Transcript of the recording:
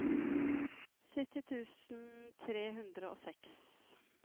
sytti tusen tre hundre og seks